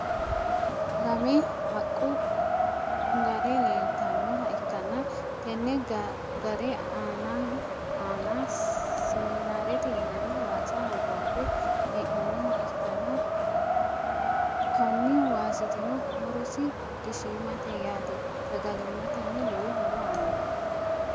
lamme haqqu gaare leelitannoha ikanna tenne gaare aanna siminaarete yinanni waasa hogonbbe he'nonniha ikanna konni waasitino horosi dishiimate yaate sagalimatenno lowo horo aannoho.